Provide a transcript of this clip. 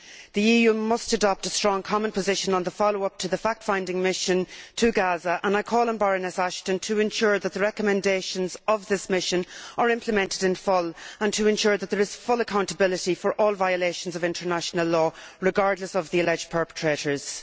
The EU must adopt a strong common position on the follow up to the fact finding mission to Gaza, and I call on Baroness Ashton to ensure that the recommendations of this mission are implemented in full, and to ensure that there is full accountability for all violations of international law, regardless of the alleged perpetrators.